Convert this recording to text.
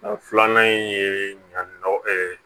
Filanan in ye ɲanɔgɔ ye